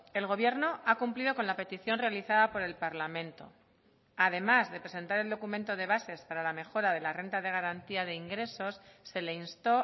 el gobierno ha cumplido con la petición realizada por el parlamento además de presentar el documento de bases para la mejora de la renta de garantía de ingresos se le instó